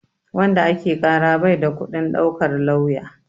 Wanda ake ƙara bai da kuɗin ɗaukar lauya.